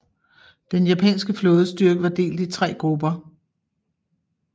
Den japanske flådestyrke var delt i tre grupper